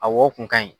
A wo kun ka ɲi